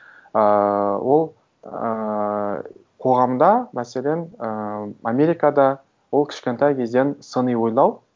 ыыы ол ыыы қоғамда мәселен ііі америкада ол кішкентай кезден сыни ойлау